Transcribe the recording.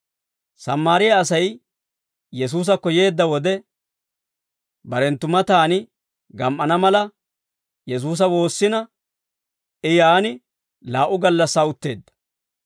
Sammaariyaa Asay Yesuusakko yeedda wode, barenttu mataan gam"ana mala, Yesuusa woossina I yaan laa"u gallassaa utteedda.